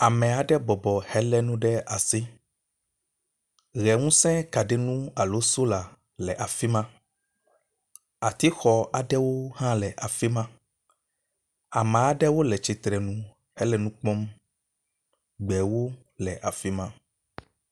Ame aɖe bɔbɔ helé nu ɖe asi. Ʋe ŋusẽ kaɖiŋu alo sola le afi ma, atixɔ aɖewo le afi am, ame aɖewo le tsitrenu hele nu kpɔm. Gbewo le afi ma.